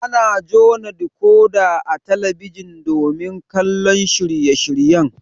Ana jona dikoda a talabijin domin kallon shirye shiryen